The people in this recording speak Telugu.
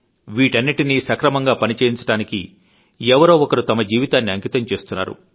వీటన్నింటినీ సక్రమంగా పని చేయించడానికి ఎవరో ఒకరు తమ జీవితాన్ని అంకితం చేస్తున్నారు